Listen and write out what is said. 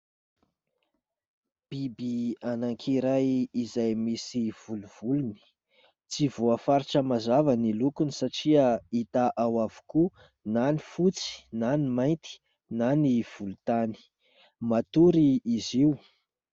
Biby anakiray izay misy volovolony, tsy voafaritra mazava ny lokony satria hita ao avokoa na ny fotsy na ny mainty na ny volon-tany, matory izy io.